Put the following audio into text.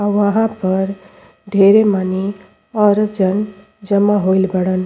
आ वहां पर ढेरे मानि औरत जन जमा होइल बाड़न।